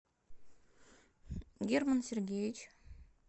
герман сергеевич